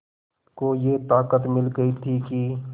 को ये ताक़त मिल गई थी कि